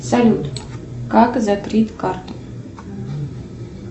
салют как закрыть карту